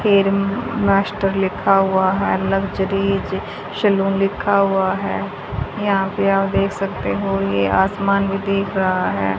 Hair master लिखा हुआ है लग्जरी जे सैलून लिखा हुआ है यहां पे आप देख सकते हो ये आसमान भी दिख रहा है।